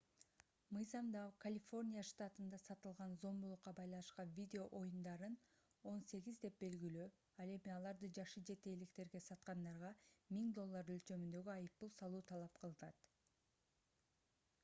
мыйзамда калифорния штатында сатылган зомбулукка байланышкан видео оюндарын 18 деп белгилөө ал эми аларды жашы жете электерге саткандарга 1000 доллар өлчөмүндөгү айыппул салуу талап кылынат